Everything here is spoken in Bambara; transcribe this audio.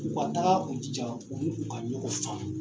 U ka taa, u jija, u ni u ka ɲɔgɔn faamu.